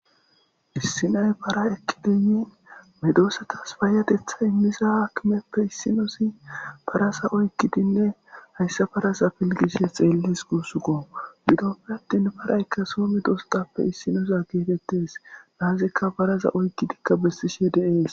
issinay para ekkidiyi medoosatas faayatetha immisa haakkimeppe issinosi parasa oykkidinne hayssa parasa pilgishshe xeellis guussukko bidoppe attin paraykka soo me doosatappe issinoosa geetettes naazikka paraza oykkidikka bessishe deees